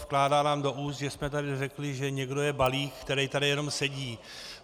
Vkládá nám do úst, že jsme tady řekli, že někdo je balík, kterej tady jenom sedí.